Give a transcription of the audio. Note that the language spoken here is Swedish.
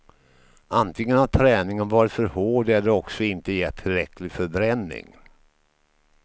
Antingen har träningen varit för hård, eller också inte gett tillräcklig förbränning.